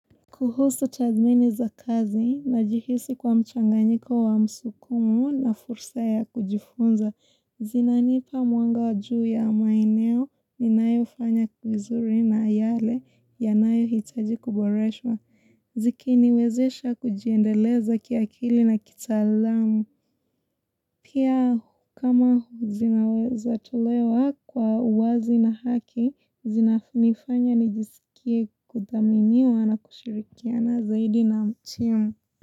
Kuhusu tathmini za kazi najihisi kwa mchanganyiko wa msukumo na fursa ya kujifunza, zinanipa mwanga juu ya maeneo ninayofanya vizuri na yale yanayo hitaji kuboreshwa, zikiniwezesha kujiendeleza kiakili na kitalaamu. Pia kama zinaweza tolewa kwa uwazi na haki, zinafinifanya nijisikie kuthaminiwa na kushirikiana zaidi na timu.